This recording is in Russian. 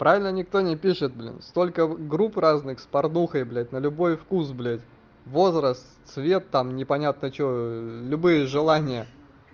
правильно никто не пишет блин столько групп разных с порнухой блять на любой вкус возраст цвет там непонятно что любые желания